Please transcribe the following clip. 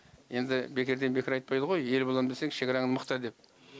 енді бекерден бекер айтпайды ғой ел боламын десең шекараңды мықта деп